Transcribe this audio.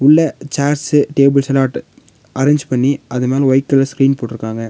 உள்ள சேர்ஸ்ஸு டேபிள்ஸெல்லா அட் அரேஞ்ச் பண்ணி அது மேல ஒயிட் கலர் ஸ்கிரீன் போட்ருக்காங்க.